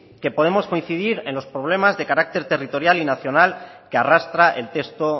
que podemos coincidir en los problemas de carácter territorial y nacional que arrastra el texto